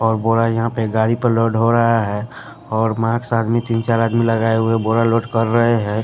और बोरा यहां पे गाड़ी पर लोड हो रहा है और मास्क आदमी तीन चार आदमी लगाए हुए बोरा लोड कर रहे है।